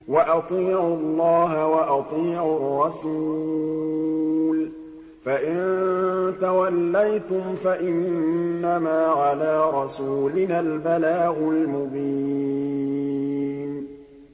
وَأَطِيعُوا اللَّهَ وَأَطِيعُوا الرَّسُولَ ۚ فَإِن تَوَلَّيْتُمْ فَإِنَّمَا عَلَىٰ رَسُولِنَا الْبَلَاغُ الْمُبِينُ